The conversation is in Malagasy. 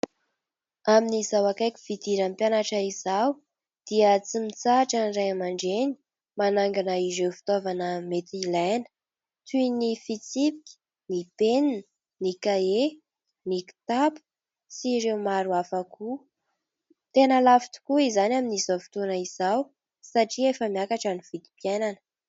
Amin'izao akaiky fidiran'ny mpianatra izao dia tsy mitsahatra ny ray aman-dreny manangona ireo fitaovana mety ilaina, toy ny fitsipika, ny penina, ny kahie, ny kitapo sy ireo maro hafa koa. Tena lafo tokoa izany amin'izao fotoana izao satria efa miakatra ny vidim-piainana.